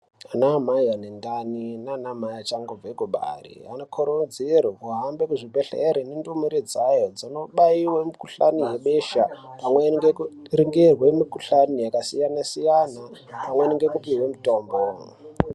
Anaamai ane ndani naanamai achangobve kubare, anokurudzirwe kuhambe muzvibhedhlere nendumure dzayo dzinobayiwe mikuhlani yebesha, pamweni ngekuringirwe mikuhlani yakasiyana-siyana, pamweni ngekupihwe mitombo.